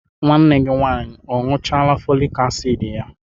Nwanne gi nwanyi a añuchala folik asidi ya?